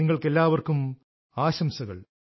നിങ്ങൾക്കെല്ലാവർക്കും ആശംസകൾ